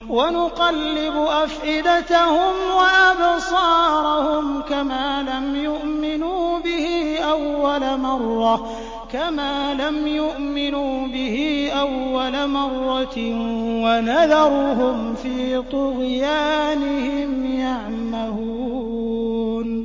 وَنُقَلِّبُ أَفْئِدَتَهُمْ وَأَبْصَارَهُمْ كَمَا لَمْ يُؤْمِنُوا بِهِ أَوَّلَ مَرَّةٍ وَنَذَرُهُمْ فِي طُغْيَانِهِمْ يَعْمَهُونَ